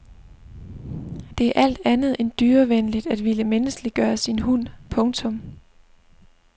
Det er alt andet end dyrevenligt at ville menneskeliggøre sin hund. punktum